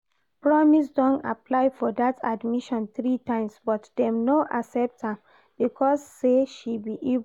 Promise don apply for that admission three times but dem no accept am because say she be Igbo